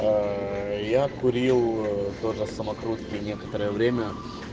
я курил тоже самокрутки некоторое время